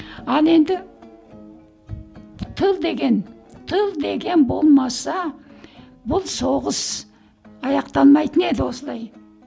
ал енді тыл деген тыл деген болмаса бұл соғыс аяқталмайтын еді осылай